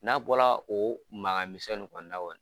N'a bɔla o maŋa misɛn nin kɔni na kɔni